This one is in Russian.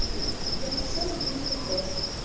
вот я сейчас задаюсь вопросом